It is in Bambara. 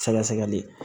Sɛgɛsɛgɛli